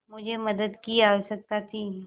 मुझे मदद की आवश्यकता थी